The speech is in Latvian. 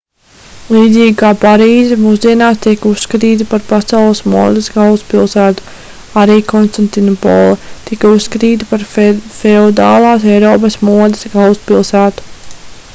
līdzīgi kā parīze mūsdienās tiek uzskatīta par pasaules modes galvaspilsētu arī konstantinopole tika uzskatīta par feodālās eiropas modes galvaspilsētu